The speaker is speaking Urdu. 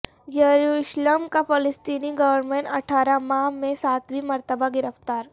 یروشلم کا فلسطینی گورنر اٹھارہ ماہ میں ساتویں مرتبہ گرفتار